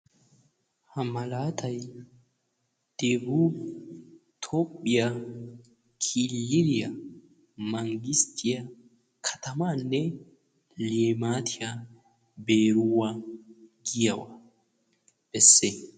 Ha malaatay debub tophphiya killiliya manggisttiya katamaanne limaatiya beeruwa giyagaa besses.